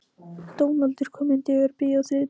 Dónaldur, hvaða myndir eru í bíó á þriðjudaginn?